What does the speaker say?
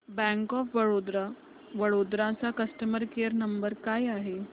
bank of Baroda Vadodara चा customer care number काय आहे